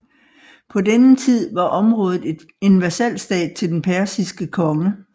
På denne tid var området en vasalstat til den persiske konge